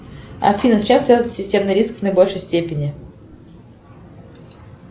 афина с чем связан системный риск в наибольшей степени